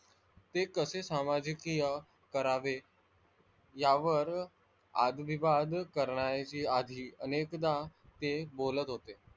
ते कसे सामाजिकिय करावे यावर वाद विवाद करणाऱ्याची आधी अनेकदा ते बोलत होते.